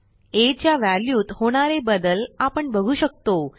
आ च्या व्हॅल्यूत होणारे बदल आपण बघू शकतो